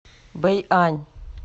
бэйань